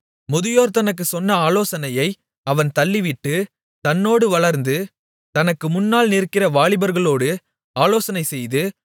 முதியோர் தனக்குச் சொன்ன ஆலோசனையை அவன் தள்ளிவிட்டு தன்னோடு வளர்ந்து தனக்கு முன்னால் நிற்கிற வாலிபர்களோடு ஆலோசனைசெய்து